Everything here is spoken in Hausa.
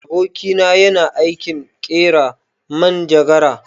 Aboki na yana aikin ƙera manjagara.